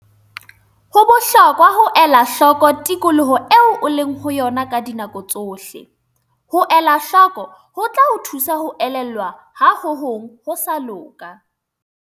Ho bohlokwa ho ela hloko tikoloho eo o leng ho yona ka dinako tsohle. Ho elahloko ho tla o thusa ho elellwa ha ho hong ho sa loka.